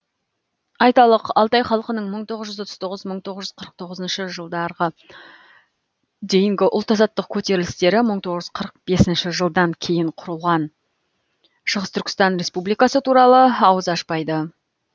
айталық алтай халқының мың тоғыз жүз отыз тоғыз мың тоғыз жүз қырық тоғызыншы жылдарғы дейінгі ұлт азаттық көтерілістері мың тоғыз жүз қырық бесінші жылдан кейін құрылған шығыс түркістан республикасы туралы ауыз ашпайды